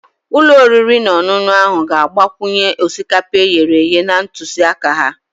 Ụlọ oriri na ọṅụṅụ ahụ ga-agbakwunye osikapa e ghere eghe na ntụziaka ha